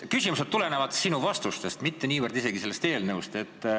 Mu küsimused tulenevad sinu vastustest, mitte niivõrd eelnõust.